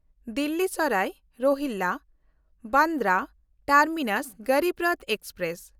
Delhi Sarai ᱨᱚᱦᱤᱞᱞᱟ–ᱵᱟᱱᱰᱨᱟ terminus Garib Rath express